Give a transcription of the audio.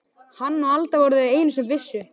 Hann og Alda voru þau einu sem vissu.